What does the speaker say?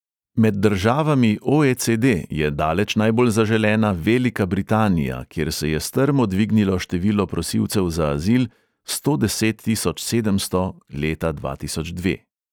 Med državami o|e|ce|de je daleč najbolj zaželena velika britanija, kjer se je strmo dvignilo število prosilcev za azil (sto deset tisoč sedemsto leta dva tisoč dve).